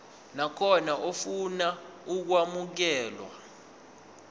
nakhona ofuna ukwamukelwa